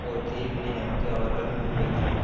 ஓர் தீர்வினை அங்கு அவர்கள் முன்வைத்தனர்